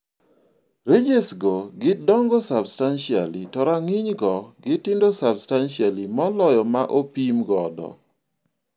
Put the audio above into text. Ranges go gidongo substantially to rang'iny go gitindo substantially moloyo ma opimgodo